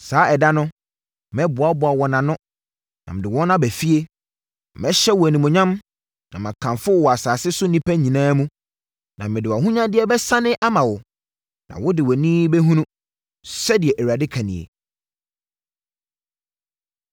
Saa ɛda no, mɛboaboa wo ano, na mede wo aba fie. Mɛhyɛ wo animuonyam na makamfo wo wɔ asase so nnipa nyinaa mu na mede wʼahonyadeɛ bɛsane ama wo na wode wʼani bɛhunu,” sɛdeɛ Awurade ka nie.